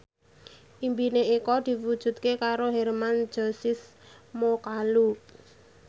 impine Eko diwujudke karo Hermann Josis Mokalu